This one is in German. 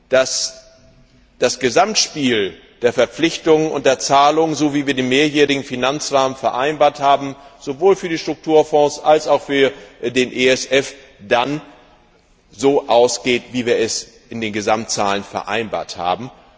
dass das Gesamtspiel der Verpflichtungen und der Zahlungen nach dem mehrjährigen Finanzrahmen sowohl für die Strukturfonds als auch für den ESF dann so ausgeht, wie wir es in den Gesamtzahlen vereinbart haben.